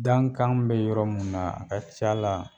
Dankan bɛ yɔrɔ mun naa a ka c'a la